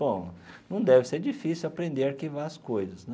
Bom, não deve ser difícil aprender a arquivar as coisas, né?